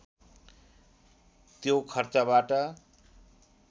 त्यो खर्चबाट